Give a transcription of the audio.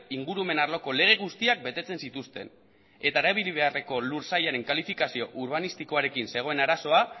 ingurumen arloko lege guztiak betetzen zituzten eta erabili beharreko lur sailaren kalifikazio urbanistikoarekin zegoen arazoa